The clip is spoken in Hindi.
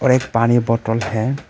और एक पानी बोटल है।